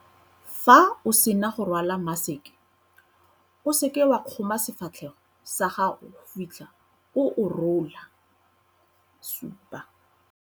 Fa o sena go rwala maseke, O SEKE WA KGOMA SEFATLHEGO SA GAGO go fitlha o o rola.7.